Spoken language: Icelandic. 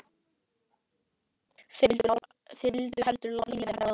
Þeir vildu heldur láta lífið en bregðast.